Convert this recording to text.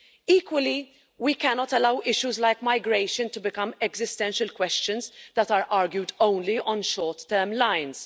Equally, we cannot allow issues like migration to become existential questions that are argued only on short-term lines.